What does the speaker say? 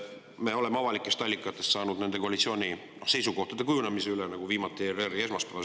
Me oleme avalikest allikatest – nagu viimati ERR-i esmaspäevasest uudisest – saanud nende koalitsiooni seisukohtade kujunemisest teada.